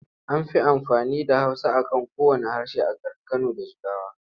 An fi amfani da Hausa a kan kowanne harshe a garin Kano da Jigawa.